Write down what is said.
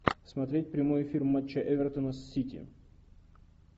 смотреть прямой эфир матча эвертона с сити